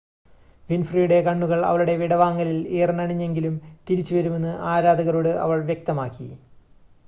വിൻഫ്രിയുടെ കണ്ണുകൾ അവളുടെ വിടവാങ്ങലിൽ ഈറനണിഞ്ഞെങ്കിലും തിരിച്ച് വരുമെന്ന് ആരാധകരോട് അവൾ വ്യക്തമാക്കി